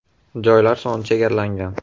Joylar soni chegaralangan!